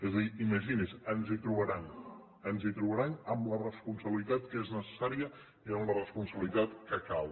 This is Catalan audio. és a dir imagini’s ens hi trobaran ens hi trobaran amb la responsabilitat que és necessària i amb la responsabilitat que cal